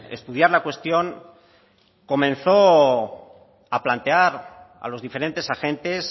estudiar la cuestión comenzó a plantear a los diferentes agentes